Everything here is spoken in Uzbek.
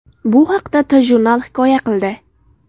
Bu haqda TJournal hikoya qildi .